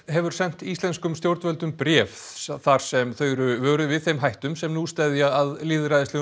hefur sent íslenskum stjórnvöldum bréf þar sem þau eru vöruð við þeim hættum sem nú steðja að lýðræðislegum